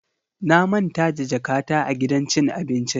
Na manta da jakata a gidan cin abincin.